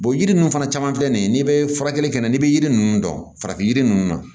yiri ninnu fana caman filɛ nin ye n'i bɛ furakɛli kɛ n'a n'i bɛ yiri ninnu dɔn farafin yiri ninnu na